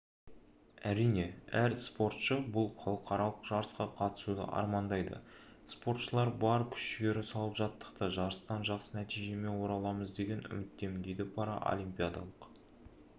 әрине әр спортшы бұл халықаралық жарысқа қатысуды армандайды спортшылар бар күш-жігері салып жаттықты жарыстан жақсы нәтижемен ораламыз деген үміттемін дейді паралимпиадалық